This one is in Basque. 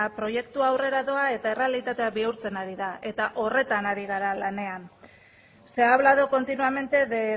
proiektua aurrera doa eta errealitatea bihurtzen ari da eta horretan ari gara lanean se ha hablado continuamente de